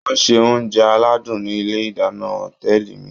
Wọ́n ń se oúnjẹ aládùn ní ilé ìdáná òtẹ́ẹ̀lì mi